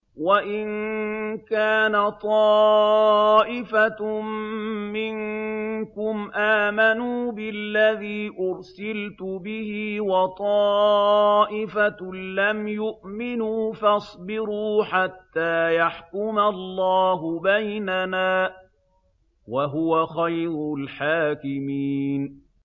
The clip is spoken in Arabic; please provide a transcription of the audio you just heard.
وَإِن كَانَ طَائِفَةٌ مِّنكُمْ آمَنُوا بِالَّذِي أُرْسِلْتُ بِهِ وَطَائِفَةٌ لَّمْ يُؤْمِنُوا فَاصْبِرُوا حَتَّىٰ يَحْكُمَ اللَّهُ بَيْنَنَا ۚ وَهُوَ خَيْرُ الْحَاكِمِينَ